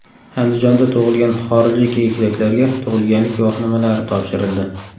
Andijonda tug‘ilgan xorijlik egizaklarga tug‘ilganlik guvohnomalari topshirildi.